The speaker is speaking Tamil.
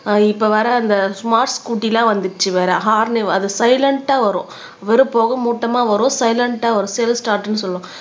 அஹ் இப்ப வர அந்த ஸ்மார்ட் ஸ்கூட்டி எல்லாம் வந்துருச்சு வேற ஹாரன் அது சைலன்டா வரும் வெறும் போக மூட்டமா வரும் சைலன்டா வரும் செல்ப் சார்ட்ன்னு சொல்லுவோம்